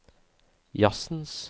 jazzens